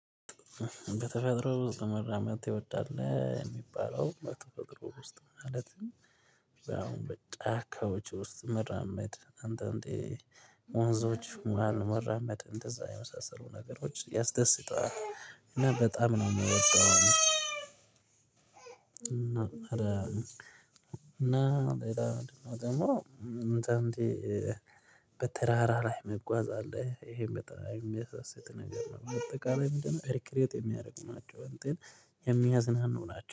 በተፈጥሮ ውስጥ መራመድ ትወዳለህ የሚባለው በተፈጥሮ ውስጥ ማለት ነው። አሁን በጫካዎች ውስጥ መራመድ አንዳንዴ ወንዞች መሃል መራመድ እንደዛ የመሳሰሉ ነገሮች ያስደስታል እና በጣም ነው የምወደው። እና ደግሞ እንትን በተራራ ላይ መጓዝ አለህ? ይሄን በተራራ የሚያሳስት ነገር ነው። በአጠቀላይ ምንድነው? በቅሬት የሚያደርግ ናቸው እንትን የሚያዝናኑ ናቸው